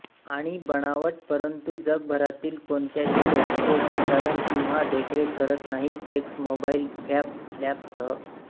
आणि बनावट परंतु जगभरातील कोणत्याही लॅबचे संचालन किंवा देखरेख करत नाही एक्समोबाईल फॅब लॅबसह